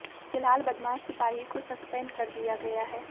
फिलहाल बदमाश सिपाही को सस्पेंड कर दिया गया है